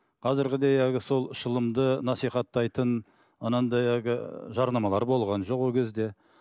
қазіргідей әлгі сол шылымды насихаттайтын анандай әлгі жарнамалар болған жоқ ол кезде